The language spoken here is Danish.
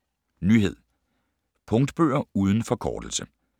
Nyhed: Punktbøger uden forkortelse